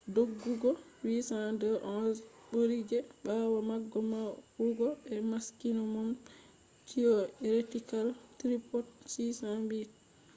doggugo 802.11n bɓuri je ɓawo maga yawugo be maksimom tiyoretikal truput 600mbiy/s